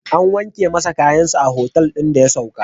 An wanke masa kayansa a otal ɗin da ya sauka.